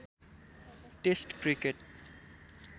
test cricket